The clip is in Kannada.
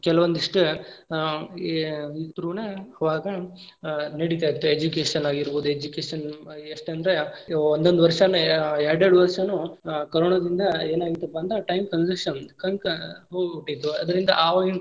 ಕೆಲವೊಂದಿಷ್ಟ ಆ ಇದ್ರ through ನ ಅವಾಗ ನಡಿತಾ ಇತ್ತ education ಇರಬಹುದು education ಎಷ್ಟ ಅಂದ್ರ ಒಂದೊಂದ್ ವರ್ಷನೆ ಎರ್ಡ್ ಎರ್ಡ್ ವರ್ಷಾನು ಆ corona ದಿಂದ ಏನಾಗಿತ್ತಪ್ಪಾ ಅಂದ್ರ time conception ಹೋಗ್ಬಿಟ್ಟಿತ್ತು ಆವಾಗಿನ.